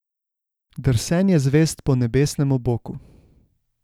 Drsenje zvezd po nebesnem oboku.